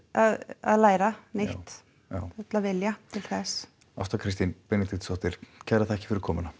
að læra nýtt já full af vilja til þess Ásta Kristín Benediktsdóttir kærar þakkir fyrir komuna